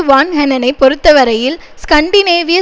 வான்ஹெனெனை பொறுத்தவரையில் ஸ்கண்டிநேவிய